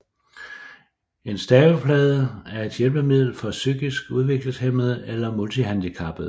En staveplade er et hjælpemiddel for psykisk udviklingshæmmede eller multihandicappede